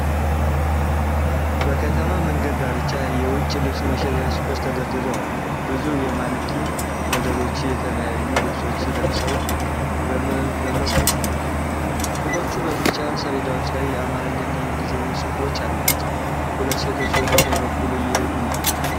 በከተማ መንገድ ዳርቻ የውጭ ልብስ መሸጫ ሱቆች ተደርድረው አሉ። ብዙ የማንኪን ሞዴሎች የተለያዩ ልብሶችን ለብሰው በመስመር ቆመዋል። ሱቆቹ በቢጫ ሰሌዳዎች ላይ የአማርኛ እና የእንግሊዝኛ ጽሑፎች አሏቸው። ሁለት ሴቶች ወደ ቀኝ በኩል እየሄዱ ነውን?